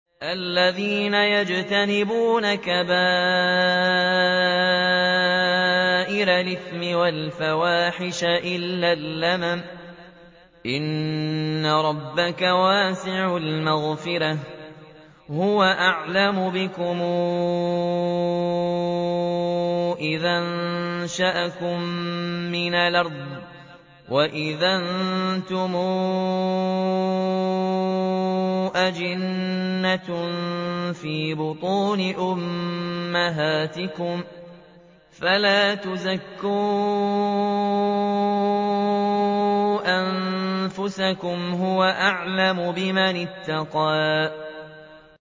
الَّذِينَ يَجْتَنِبُونَ كَبَائِرَ الْإِثْمِ وَالْفَوَاحِشَ إِلَّا اللَّمَمَ ۚ إِنَّ رَبَّكَ وَاسِعُ الْمَغْفِرَةِ ۚ هُوَ أَعْلَمُ بِكُمْ إِذْ أَنشَأَكُم مِّنَ الْأَرْضِ وَإِذْ أَنتُمْ أَجِنَّةٌ فِي بُطُونِ أُمَّهَاتِكُمْ ۖ فَلَا تُزَكُّوا أَنفُسَكُمْ ۖ هُوَ أَعْلَمُ بِمَنِ اتَّقَىٰ